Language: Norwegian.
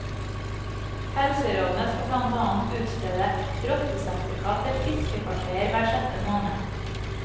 Helserådene skal blant annet utstede rottesertifikat til fiskefartøyer hver sjette måned.